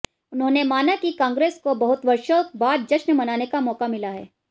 उन्होंने माना कि कांग्रेस को बहुत वर्षों बाद जश्न मनाने का मौका मिला है